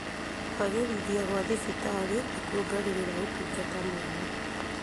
Kwagĩrithia gwa thibitarĩ nĩkuongagĩrĩra ũtungata mwega